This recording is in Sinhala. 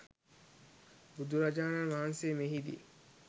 බුදුරජාණන් වහන්සේ මෙහිදී